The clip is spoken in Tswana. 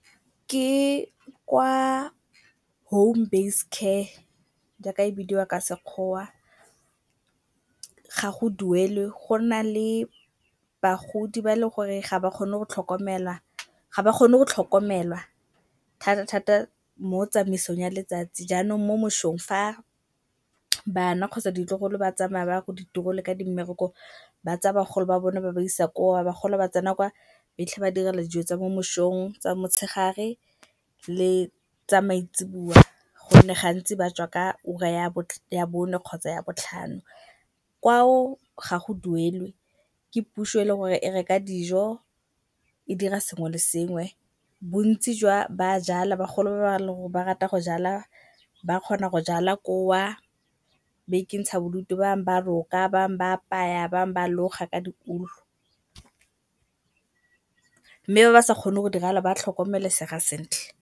Ke kwa home-based care jaaka e bidiwa ka sekgowa ga go duelwe, go na le bagodi ba e leng gore ga ba kgone go tlhokomelwa thata-thata mo tsamaisong ya letsatsi. Jaanong mo mosong fa bana kgotsa ditlogolo ba tsamaya ba ya ko ditirong le kwa di mmerekong ba tsaya bagolo ba bone ba ba isa kwa, bagolo ba tsena kwa ba fitlhe ba direlwa dijo tsa mo mosong, tsa motshegare le tsa maitseboa. Gonne gantsi ba tswa ka ura ya bone kgotsa ya botlhano. Kwao ga go duelwe ke puso e le gore e reka dijo, e dira sengwe le sengwe, bontsi ba jala bagolo ba bangwe ba rata go jala, ba kgona go jala ko o, ba ikentsha bodutu. Ba bangwe ba roka, ba bangwe ba apaya, ba bangwe ba loga ka di-wool mme ba ba sa kgoneng go dira jalo ba tlhokomelesega sentle.